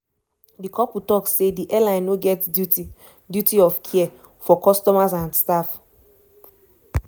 di couple tok say di airline no get duty duty of care" for customers and staff.